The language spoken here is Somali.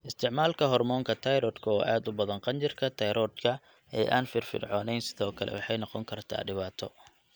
Isticmaalka hoormoonka tayroodhka oo aad u badan qanjirka tayroodhka ee aan firfircoonayn sidoo kale waxay noqon kartaa dhibaato.